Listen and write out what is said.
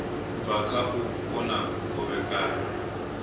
bva kha u kona kovhekana